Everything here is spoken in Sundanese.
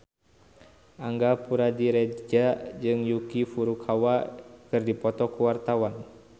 Angga Puradiredja jeung Yuki Furukawa keur dipoto ku wartawan